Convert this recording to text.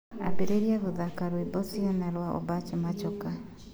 ambĩrĩria kuthaka rwimbo ciana rwa obach machoka